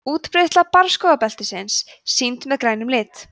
útbreiðsla barrskógabeltisins sýnd með grænum lit